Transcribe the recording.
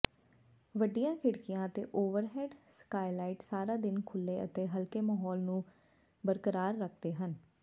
ਵੱਡੀਆਂ ਖਿੜਕੀਆਂ ਅਤੇ ਓਵਰਹੈੱਡ ਸਕਾਈਲਾਈਟ ਸਾਰਾ ਦਿਨ ਖੁੱਲ੍ਹੇ ਅਤੇ ਹਲਕੇ ਮਾਹੌਲ ਨੂੰ ਬਰਕਰਾਰ ਰੱਖਦੇ ਹਨ